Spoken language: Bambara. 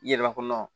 I yɛrɛ b'a dɔn